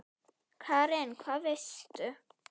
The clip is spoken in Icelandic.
Karen: Hvað veistu?